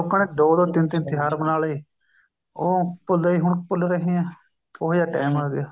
ਲੋਕਾਂ ਨੇ ਦੋ ਦੋ ਤਿੰਨ ਤਿੰਨ ਤਿਉਹਾਰ ਬਨਾਲੇ ਉਹ ਭੁੱਲਦੇ ਹੀ ਹੁਣ ਭੁੱਲ ਰਹੇ ਆ ਉਹੇ ਜਾ time ਆ ਗਿਆ